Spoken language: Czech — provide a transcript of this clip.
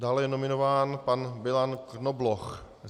Dále je nominován pan Milan Knobloch.